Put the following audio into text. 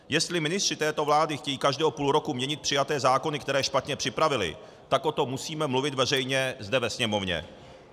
Jestli ministři této vlády chtějí každého půl roku měnit přijaté zákony, které špatně připravili, tak o tom musíme mluvit veřejně zde ve Sněmovně.